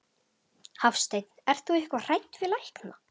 Hafsteinn: Ert þú eitthvað hrædd við lækna?